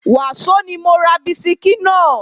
Wàsó ni mo ra bisikí náà